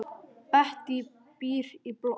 Bettý býr í blokk.